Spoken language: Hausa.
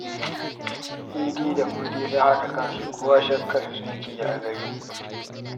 Idi da Mudi sun haɗe kansu, kowa shakkarsu yake yi a gari